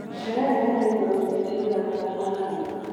Terere wendagio rũcinĩ riũa rĩtanara mũno.